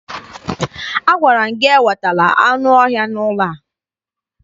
Agwara m gị ewetala anụ ọhịa n'ụlọ a!